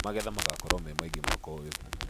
Magetha magakorwo me maingĩ mwaka ũyũ